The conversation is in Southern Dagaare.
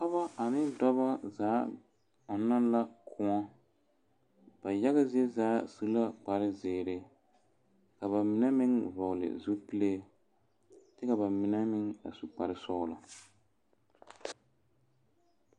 Pɔɡeba ane dɔbɔ zaa ɔnɔ la kõɔ ba yaɡa zie zaa su la kparziiri ka ba mine vɔɔli zupile kyɛ ka ba mine meŋ su kparsɔɡelɔ .